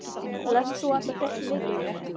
Lest þú allar fréttir vikunnar?